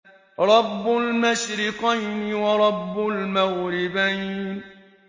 رَبُّ الْمَشْرِقَيْنِ وَرَبُّ الْمَغْرِبَيْنِ